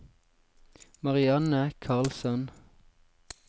Marianne Karlsson